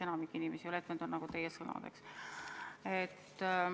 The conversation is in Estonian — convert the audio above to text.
Enamik inimesi ei taha olla ettevõtjad – need on teie sõnad, eks ole.